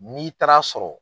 N'i taara sɔrɔ